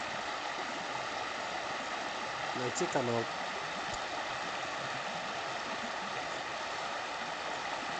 найти канал